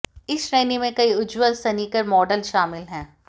इस श्रेणी में कई उज्ज्वल स्नीकर मॉडल शामिल हैं